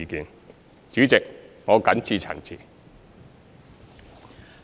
代理主席，我謹此陳辭。